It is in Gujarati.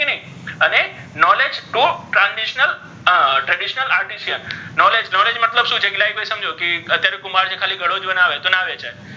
અને knowledge to transitionaltraditinal artificial knowledge knowledge મતલબ શુ છે like કે ભઇ અત્યારે કુમ્ભાર છે ખાલી ઘડો જ બનાવે તો નાવેચાય,